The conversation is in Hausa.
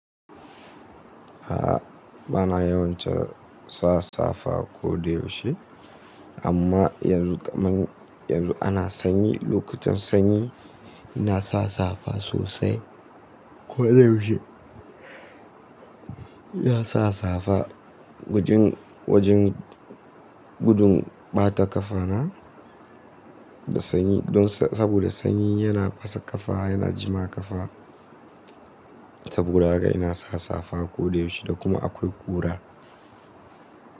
A'a bana yawancin sa safa ko da yaushe. Amma yanzu kam an, yanzu ana sanyi, lokutan sanyi ina sa safa sosai ko da yaushe. Ina sa safa wajen, wajen gudun ɓata kafa na da sanyi. Don saboda sanyi yana fasa kafa, yana jima kafa. Saboda haka ina sa safa ko da yaushe da kuma akwai ƙura.